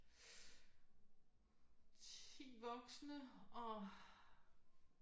10 voksne og